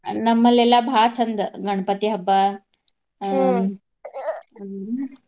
ನಮ್ಮಲ್ಲೇಲ್ಲಾ ಬಾಳ ಚಂದ್ ಗಣಪತಿ ಹಬ್ಬಾ ಹ್ಮ್.